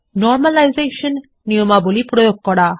normalisation নিয়মাবলী প্রয়োগ করা